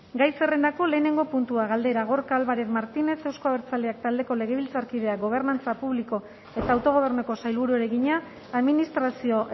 gai zerrendako lehenengo puntua galdera gorka álvarez martínez euzko abertzaleak taldeko legebiltzarkideak gobernantza publiko eta autogobernuko sailburuari egina administrazio